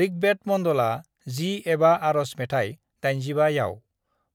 "ऋग्वेद मन्डला 10 एबा आरज मेथाय 85 याव,